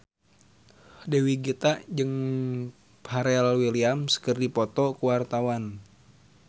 Dewi Gita jeung Pharrell Williams keur dipoto ku wartawan